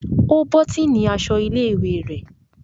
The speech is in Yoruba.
O botini aṣọ ilé-ìwé rẹ.